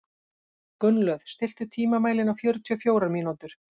Gunnlöð, stilltu tímamælinn á fjörutíu og fjórar mínútur.